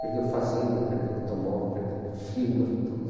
Perdeu fazenda, perdeu automóvel, perdeu firma, tudo.